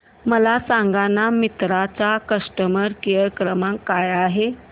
मला सांगाना मिंत्रा चा कस्टमर केअर क्रमांक काय आहे